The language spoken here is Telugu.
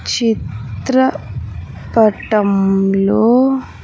చిత్ర పటంలో.